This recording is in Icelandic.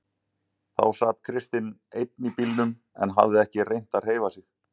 Þá sat Kristinn enn í bílnum en hafði ekki reynt að hreyfa sig.